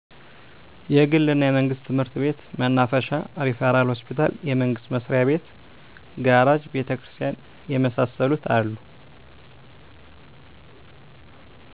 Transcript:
የግል እና የመንግስት ትምህርት ቤት፣ መናፈሻ፣ ሪፈራል ሆስፒታል፣ የመንግስት መስሪያቤት፣ ጋራጅ፣ ቤተክርስቲያን የመሳሰሉት አሉ።